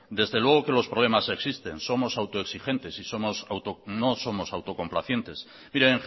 desde luego que los problemas existen somos autoexigentes y no somos autocomplacientes mire